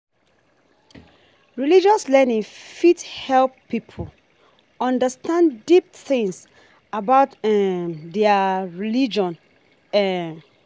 Religious learning fit help pipo understand deep things about um their religion um